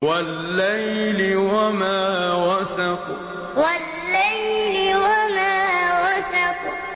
وَاللَّيْلِ وَمَا وَسَقَ وَاللَّيْلِ وَمَا وَسَقَ